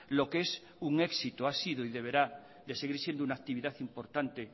lo que es un éxito ha sido y deberá de seguir siendo una actividad importante